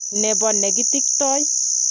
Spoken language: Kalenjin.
Nebo nekitiktoi.